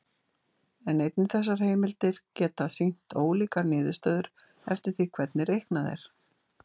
en einnig þessar heimildir geta sýnt ólíkar niðurstöður eftir því hvernig reiknað er